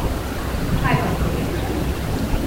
Kaj pa Slovenke?